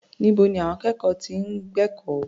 Níbo ni àwọn akẹ́kọ̀ọ́ ti ń gbẹ̀kọ́?